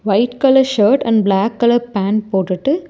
white colour shirt and black colour pant போட்டுட்டு --